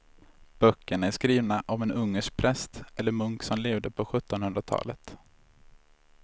Böckerna är skrivna av en ungersk präst eller munk som levde på sjuttonhundratalet.